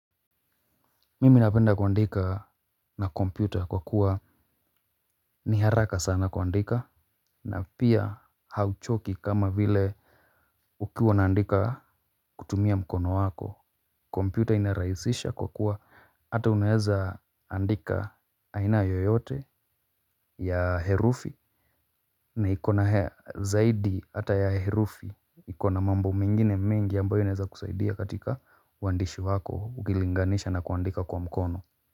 Mimi napenda kuandika na kompyuta kwa kuwa ni haraka sana kuandika na pia hauchoki kama vile ukiwa unaandika kutumia mkono wako, kompyuta inaraisisha kwa kuwa hata unaeza andika aina yoyote ya herufi na ikona zaidi ata ya herufi iko na mambo mengine mengi ambayo inaeza kusaidia katika uandishi wako ukilinganisha na kuandika kwa mkono.